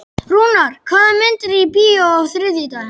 Rúnar, hvaða myndir eru í bíó á þriðjudaginn?